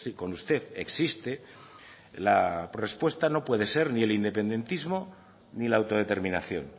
con usted existe la respuesta no puede ser ni el independentismo ni la autodeterminación